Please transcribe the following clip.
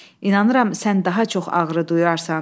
İnanıram, sən daha çox ağrı duyarsan.